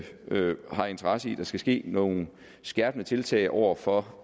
øvrigt har interesse i at der skal ske nogle skærpende tiltag over for